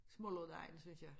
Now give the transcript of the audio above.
Smuldredejen synes jeg